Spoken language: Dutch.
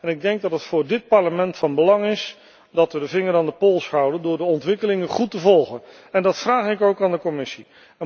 Ik denk dat het voor dit Parlement van belang is dat we de vinger aan de pols houden door de ontwikkelingen op de voet te volgen en dat vraag ik ook aan de Commissie.